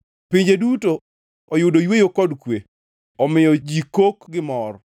Pinje duto oyudo yweyo kod kwe omiyo ji kok gi mor.